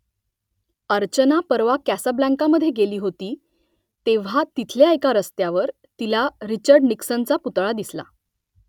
अर्चना परवा कासाब्लांकामध्ये गेली होती तेव्हा तिथल्या एका रस्त्यावर तिला रिचर्ड निक्सनचा पुतळा दिसला